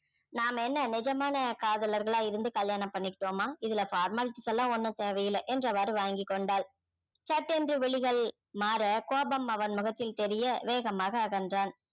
நாம என்ன நிஜமான காதலர்களாக இருந்து கல்யாணம் பண்ணிக்கிட்டோமா இதுல formalities எல்லாம் ஒண்ணும் தேவை இல்ல என்றவாரு வாங்கிக் கொண்டாள் சட்டென்று விழிகள் மாற கோபம் அவன் முகத்தில் தெரிய வேகமாக அகன்றான்